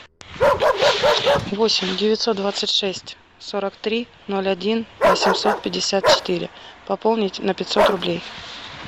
восемь девятьсот двадцать шесть сорок три ноль один восемьсот пятьдесят четыре пополнить на пятьсот рублей